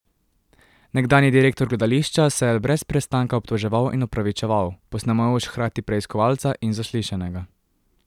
Nekdanji direktor gledališča se je brez prestanka obtoževal in opravičeval, posnemajoč hkrati preiskovalca in zaslišanega.